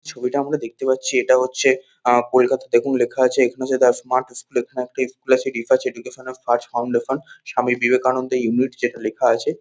ছবিটা আমরা দেখতে পাচ্ছি এটা হচ্ছে আহ কলকাতা দেখুন লেখা আছে এখানে দ্যা স্মার্ট স্কুল এখানে একটা স্কুল আছে educational search foundation Swami Vivekananda unit যেটা লেখা আছে।